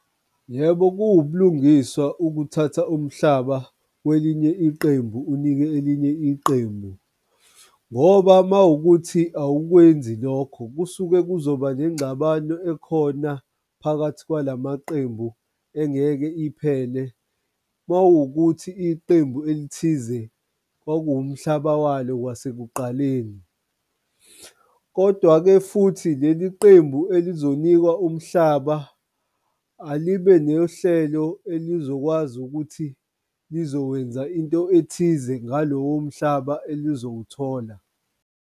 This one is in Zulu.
Yebo, kuwubulungiswa ukuthatha umhlaba kwelinye iqembu unike elinye iqembu, ngoba uma wukuthi awukwenzi lokho kusuke kuzoba nengxabano ekhona phakathi kwalamaqembu engeke iphele. Mawukuthi iqembu elithize kwakuwumhlaba walo kwasekuqaleni. Kodwa-ke futhi leli qembu elizobonikwa umhlaba alibe nohlelo elizokwazi ukuthi lizokwenza into ethize ngalowo mhlaba elizowuthola.